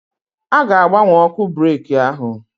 A ga-agbanwe ọkụ breki ahụ.